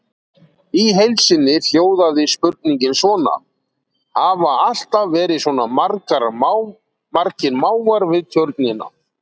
Í heild sinni hljóðaði spurningin svona: Hafa alltaf verið svona margir máfar við tjörnina?